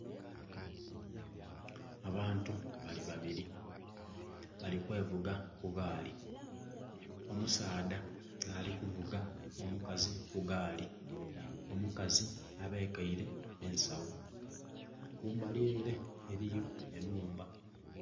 Abantu bali babiri bali kwevuga ku gaali omusaadha nhali ku vuuga omukazi ku gaali. Omukazi abekeire ensagho kumbali ere eriyo enhumba.